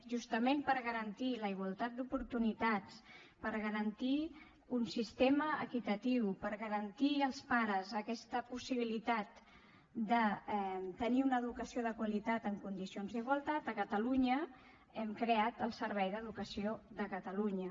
justament per garantir la igualtat d’oportunitats per garantir un sistema equitatiu per garantir als pares aquesta possibilitat de tenir una educació de qualitat en condicions d’igualtat a catalunya hem creat el servei d’educació de catalunya